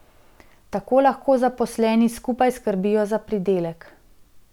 Tako lahko zaposleni skupaj skrbijo za pridelek.